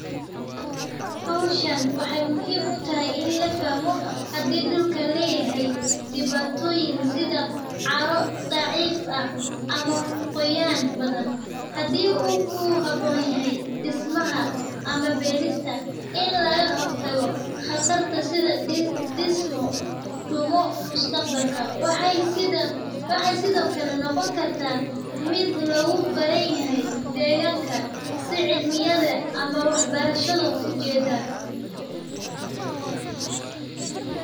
Howshan waxeey muhiim utahay in la fahmo hadii dulka dulka uu leyahay cara nadiif ah hadii uu ku haboon yahay dismaha sida waxeey sido kale noqon kartaa mid deeganka ama wax barshada ujeeda.